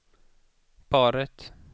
paret